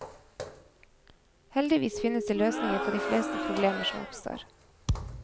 Heldigvis finnes det løsninger på de fleste problemer som oppstår.